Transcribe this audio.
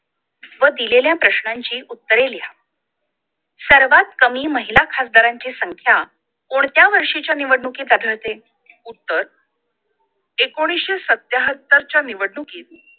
व दिलेल्या प्रश्नांची उत्तरे लिहा सर्वात कमी महिला खासदारांची संख्या कोणत्या वर्षीच्या निवडणुकीत आढळते उत्तर एकोणीशे सत्त्याहत्तरच्या निवडणुकीत